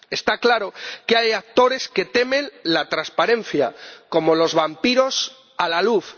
Está claro que hay actores que temen la transparencia como los vampiros la luz.